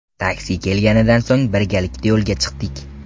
Taksi kelganidan so‘ng birgalikda yo‘lga chiqdik.